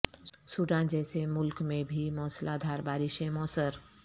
Sudan جیسے ملک میں بھی موسلا دھار بارشیں موثر